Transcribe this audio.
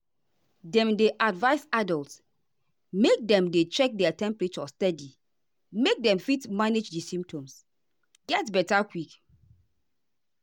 dem dey advise adults make dem dey check their temperature steady make dem fit manage di symptoms get beta quick.